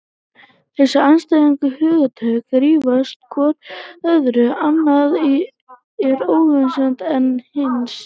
Þessi andstæðu hugtök þrífast hvort á öðru, annað er óhugsandi án hins.